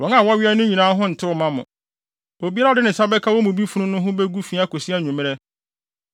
Wɔn a wɔwea no nyinaa ho ntew mma mo, obiara a ɔde ne nsa bɛka wɔn mu bi funu no ho begu fi akosi anwummere